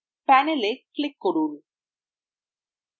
panel এ click করুন